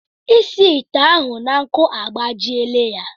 Ịsi ite ahụ na nkụ agbajiela ya.